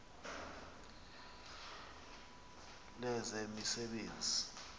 lezemisebenzi